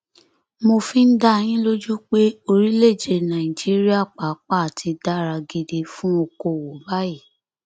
mo fi ń dá yín lójú pé orílẹèdè nàìjíríà pàápàá ti dára gidi fún okòòwò báyìí